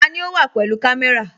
Tani o wa pẹ̀lú kamé̩ra?